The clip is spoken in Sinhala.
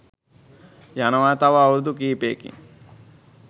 යනවා තව අවුරුදු කීපයකින්.